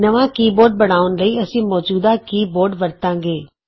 ਨਵਾਂ keyboard ਬਣਾਉਣ ਲਈ ਅਸੀਂ ਮੌਜੂਦਾ ਕੀ ਬੋਰਡ ਵਰਤਾਂਗੇ